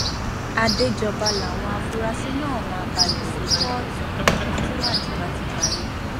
àdéjọba làwọn afurasí náà máa balẹ sí kóòtù tíwádìí bá ti parí